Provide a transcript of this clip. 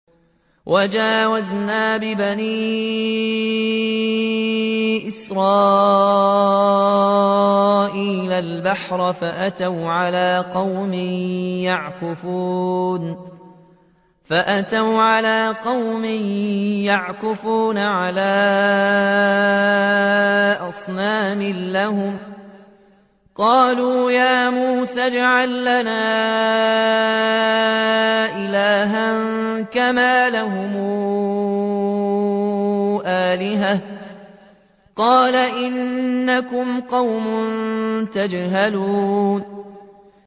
وَجَاوَزْنَا بِبَنِي إِسْرَائِيلَ الْبَحْرَ فَأَتَوْا عَلَىٰ قَوْمٍ يَعْكُفُونَ عَلَىٰ أَصْنَامٍ لَّهُمْ ۚ قَالُوا يَا مُوسَى اجْعَل لَّنَا إِلَٰهًا كَمَا لَهُمْ آلِهَةٌ ۚ قَالَ إِنَّكُمْ قَوْمٌ تَجْهَلُونَ